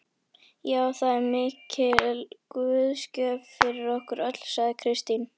Já, það er mikil guðsgjöf fyrir okkur öll, sagði Kristín.